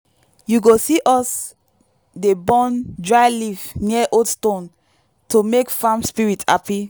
you go see us dey burn dry leaf near old stone to make farm spirits happy.